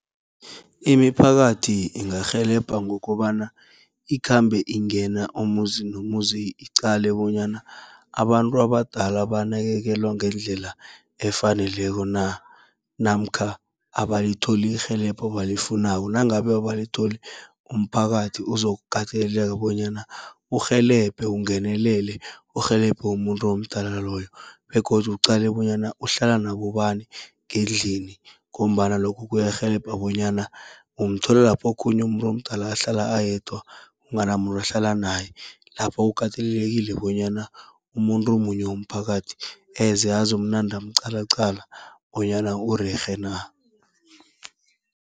Imiphakathi ingarhelebha ngokobana ikhambe ingena umuzi nomuzi, iqale bonyana abantu abadala banakekelwa ngendlela efaneleko na namkha abalitholi irhelebho abalifunako. Nangabe abalitholi, umphakathi uzokukateleleka bonyana urhelebhe ungenelele, urhelebhe umuntu omdala loyo. Begodu uqale bonyana uhlala nabobani ngendlini, ngombana lokho kuyarhelebha bonyana umthola lapho okhunye umuntu omdala ahlala ayedwa, kunganamuntu ohlala naye. Lapho kukatelelekile bonyana umuntu munye womphakathi, eze azokunande amuqalaqala bonyana urerhe na.